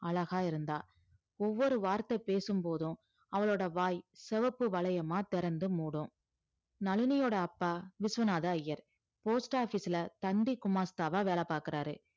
அழகா இருந்தா ஒவ்வொரு வார்த்தை பேசும்போதும் அவளோட வாய் சிவப்பு வளையமா திறந்து மூடும் நளினியோட அப்பா விஸ்வநாத ஐயர் post office ல தந்தி குமாஸ்தாவா வேலை பார்க்கிறாரு